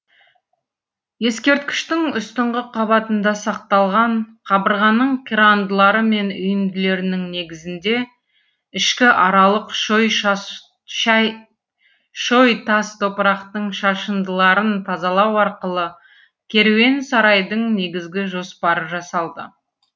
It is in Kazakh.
ескерткіштің үстіңгі қабатында сақталған қабырғаның қирандылары мен үйінділерінің негізінде ішкі аралық шой шой тас топырақтың шашындыларын тазалау арқылы керуен сарайдың негізгі жоспары жасалды